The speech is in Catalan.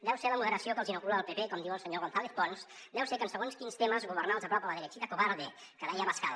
deu ser la moderació que els inocula el pp com diu el senyor gonzález pons deu ser que en segons quins temes governar els apropa a la derechita cobarde que deia abascal